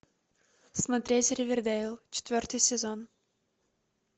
смотреть ривердэйл четвертый сезон